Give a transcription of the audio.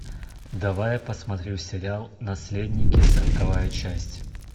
давай я посмотрю сериал наследники сороковая часть